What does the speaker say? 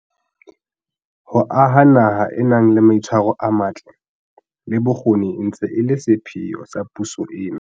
Ho aha naha e nang le mai tshwaro a matle, le bokgoni e ntse e le sepheo sa puso ena.